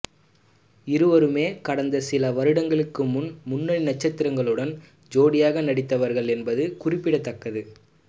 இருவருமே கடந்த சில வருடங்களுக்கு முன் முன்னணி நட்சத்திரங்களுடன் ஜோடியாக நடித்தவர்கள் என்பது குறிப்பிடத்தக்கது